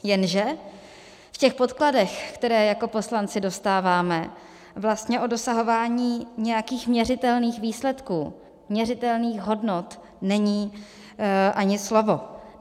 Jenže v těch podkladech, které jako poslanci dostáváme, vlastně o dosahování nějakých měřitelných výsledků, měřitelných hodnot není ani slovo.